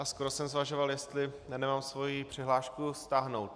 A skoro jsem zvažoval, jestli nemám svoji přihlášku stáhnout.